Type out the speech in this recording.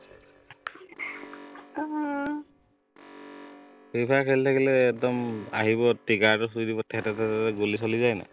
free Fire খেলি থাকিলে একদম আহিব trigger টো চুই দিব থে থে থেকে গুলি চলি যায় নাই